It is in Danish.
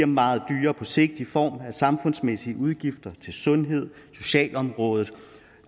meget dyrere på sigt i form af samfundsmæssige udgifter til sundhed socialområdet